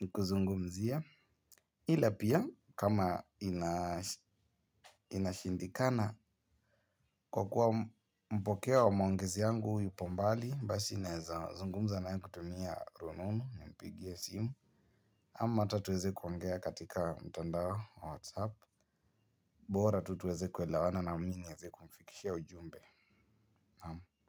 ni kuzungumzie. Ila pia kama inashindikana kwa kuwa mpokea wa maongezi yangu yupombali, basi nawezazungumza naye kutumia rununu, nimpigie simu. Ama ata tuweze kuongea katika mtandao wa WhatsApp bora tutuweze kuelewana na mimi niweze kumfikishia ujumbe.